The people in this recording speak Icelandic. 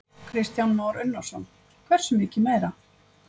Kristján Már Unnarsson: Hversu mikið meira?